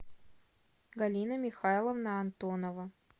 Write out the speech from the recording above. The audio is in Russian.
галина михайловна антонова